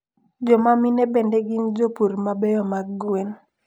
Jomamine bende gind jopur mabeyo mag gwen